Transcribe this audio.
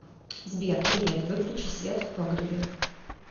сбер привет выключи свет в погребе